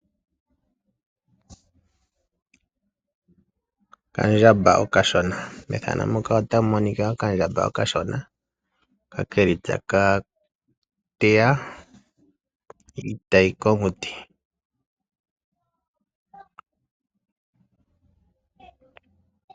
Methano muka otamu monika okandjamba okashona hoka ke li taka teya iitayi komuti.